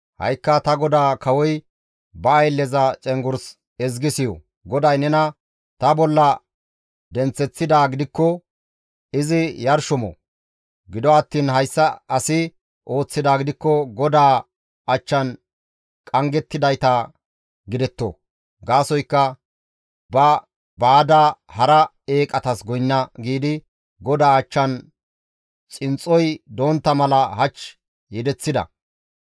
Ha7ikka ta godaa kawoy, ba aylleza cenggurs ezgi siyo; GODAY nena ta bolla denththeththidaa gidikko izi yarsho mo; gido attiin hayssa asi ooththidaa gidikko GODAA achchan qanggettidayta gidetto; gaasoykka, ‹Ba, baada hara eeqatas goynna› giidi GODAA achchan xinxxoy dontta mala hach yedeththida.